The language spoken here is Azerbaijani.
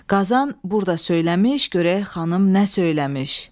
Qazan burda söyləmiş, görək xanım nə söyləmiş.